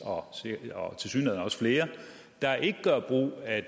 og tilsyneladende flere der ikke gør brug af